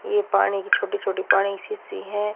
ये पानी की छोटी छोटी पानी सीसी है।